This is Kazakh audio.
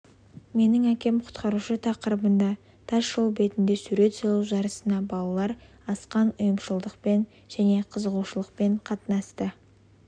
менің әкем құтқарушы тақырыбында тас жол бетінде сурет салу жарысына балалар асқан ұйымшылдықпен және қызығушылықпен қатынасты